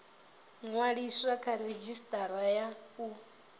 ṅwaliswa kha redzhisitara ya u